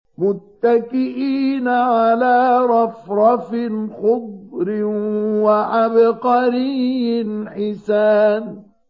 مُتَّكِئِينَ عَلَىٰ رَفْرَفٍ خُضْرٍ وَعَبْقَرِيٍّ حِسَانٍ